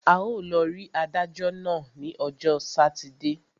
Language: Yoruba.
A ó lọ rí adájọ́ náà ní ọjọ́ sátidé.